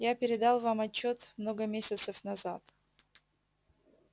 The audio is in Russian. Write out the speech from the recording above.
я передал вам отчёт много месяцев назад